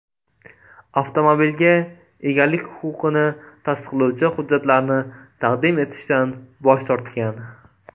Avtomobilga egalik huquqini tasdiqlovchi hujjatlarni taqdim etishdan bosh tortgan”.